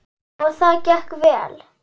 Og það gekk vel.